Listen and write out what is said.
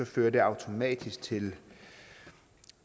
fører det automatisk til